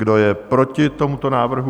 Kdo je proti tomuto návrhu?